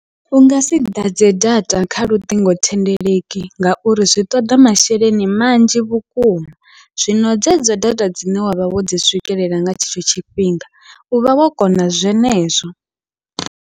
Ungasi ḓadze data kha luṱingothendeleki, ngauri zwi ṱoḓa masheleni manzhi vhukuma zwino dzedzo data dzine wavha wodzi swikelela nga tshetsho tshifhinga uvha wo kona zwenezwo.